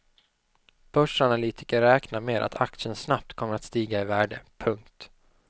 Börsanalytiker räknar ned att aktien snabbt kommer att stiga i värde. punkt